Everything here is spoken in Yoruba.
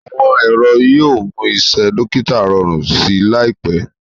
awọn ẹrọ yíò mú Iṣé dókítà rọrùn sí láìpé.